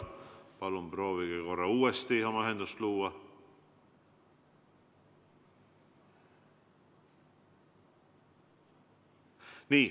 Palun proovige korra uuesti ühendust luua.